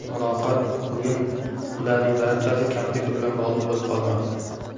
muloqot – bugun bularning barchasi kompyuter bilan bog‘liq bo‘lib qolmoqda.